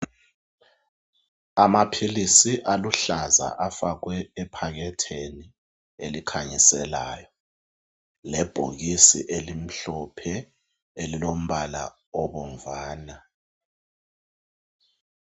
Amaphilisi aluhlaza afakwe ephaketheni elikhanyiselayo lebhokisi elimhlophe elilombala obomvana.